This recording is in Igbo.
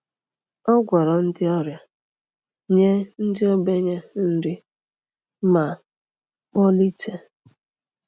Ọ gwọrọ ndị ọrịa, nye ndị ogbenye nri, ma kpọlite